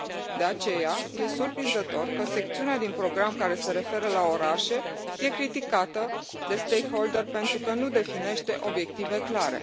De aceea, e surprinzător că secțiunea din program care se referă la orașe e criticată de stakeholderi pentru că nu definește obiective clare.